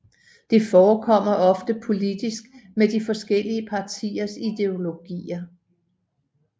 Det forekommer oftest politisk med de forskellige partiers ideologier